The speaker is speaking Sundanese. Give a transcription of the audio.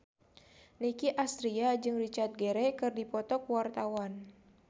Nicky Astria jeung Richard Gere keur dipoto ku wartawan